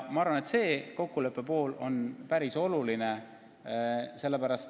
Ma arvan, et see kokkulepe on päris oluline.